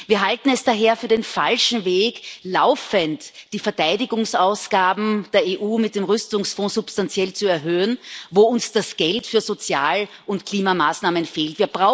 Wir halten es daher für den falschen Weg, laufend die Verteidigungsausgaben der EU mit dem Rüstungsfonds substanziell zu erhöhen, wo uns das Geld für Sozial und Klimamaßnahmen fehlt.